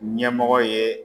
Ɲɛmɔgɔ ye